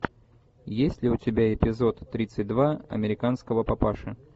есть ли у тебя эпизод тридцать два американского папаши